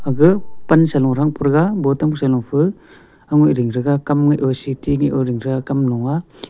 aga pan sa lung thang pe thega botam sa lung pha au ngai ding thega kam ngai oo city ngai oo thega kam lung nga.